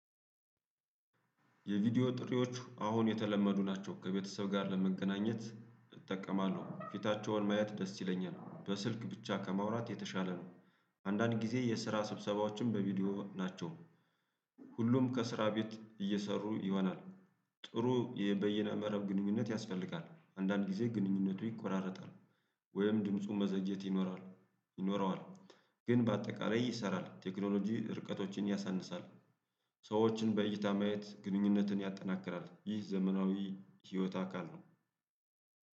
የቪዲዮ ጥሪዎች አሁን የተለመዱ ናቸው ከቤተሰብ ጋር ለመገናኘት እጠቀማለሁ ፊታቸውን ማየት ደስ ይለኛል በስልክ ብቻ ከማውራት የተሻለ ነው። አንዳንድ ጊዜ የስራ ስብሰባዎችን በቪዲዮ ናቸው። ሁሉም ከስራ ቤት እየሰሩ ይሆናል። ጥሩ በየነ መረብ ግንኙነት ያስፈልጋል አንዳንድ ጊዜ ግንኙነቱ ይቆራረጣል። ወይም ድምፁ መዘግየት ይኖራል ይኖረዋል። ግን በአጠቃላይ ይሰራል ቴክኖሎጂ ርቀቶችን ያሳንሳል። ሰዎችን በእይታ ማየት ግንኙነትን ያጠናክራል ይህ ዘመናዊ የህይወት አካል ነው።